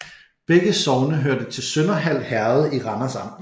Begge sogne hørte til Sønderhald Herred i Randers Amt